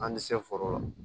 An ti se foro la